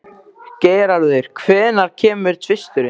Geirarður, hvenær kemur tvisturinn?